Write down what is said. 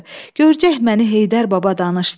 Görcək məni Heydər baba danışdı.